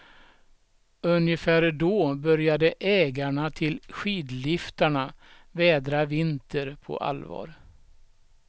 Ungefär då började ägarna till skidliftarna vädra vinter på allvar.